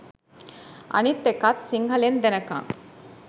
අනික් එකත් සිංහලෙන් දෙනකන්